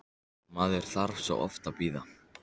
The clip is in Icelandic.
Maður þarf svo oft að bíða!